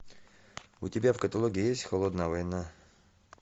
у тебя в каталоге есть холодная война